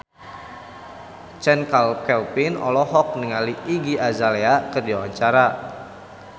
Chand Kelvin olohok ningali Iggy Azalea keur diwawancara